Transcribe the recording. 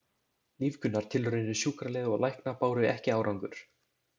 Lífgunartilraunir sjúkraliða og lækna báru ekki árangur.